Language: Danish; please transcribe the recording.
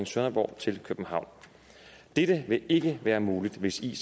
sønderborg til københavn dette vil ikke være muligt hvis ic